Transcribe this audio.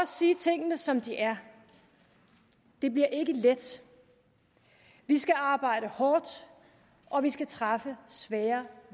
sige tingene som de er det bliver ikke let vi skal arbejde hårdt og vi skal træffe svære